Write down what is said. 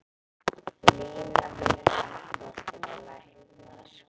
Lína Vilhjálmsdóttir er læknir.